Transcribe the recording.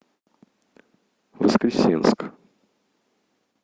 воскресенск